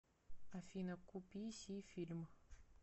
афина ку пи си фильм